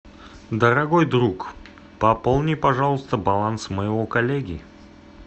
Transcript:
дорогой друг пополни пожалуйста баланс моего коллеги